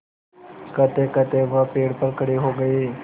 कहतेकहते वह पेड़ पर खड़े हो गए